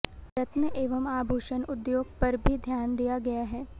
रत्न एवं आभूषण उद्योग पर भी ध्यान दिया गया है